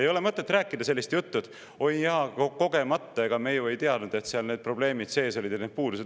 Ei ole mõtet rääkida sellist juttu, et oi, jaa, juhtus kogemata, ega me ju ei teadnud, et seal need probleemid ja need puudused sees olid.